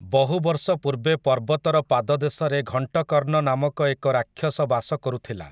ବହୁ ବର୍ଷ ପୂର୍ବେ ପର୍ବତର ପାଦ ଦେଶରେ ଘଂଟକର୍ଣ୍ଣ ନାମକ ଏକ ରାକ୍ଷସ ବାସ କରୁଥିଲା ।